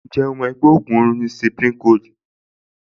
Ǹjẹ́ ó mọ̀ pé ògùn orun ni Cipri Gold?